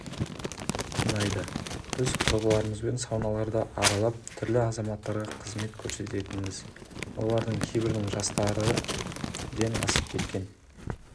ұнайды біз құрбыларымызбен сауналарды аралап түрлі азаматтарға қызмет көрсететінбіз олардың кейбірінің жастары ден асып кеткен